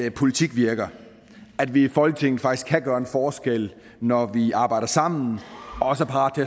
at politik virker at vi i folketinget faktisk kan gøre en forskel når vi arbejder sammen og også er parate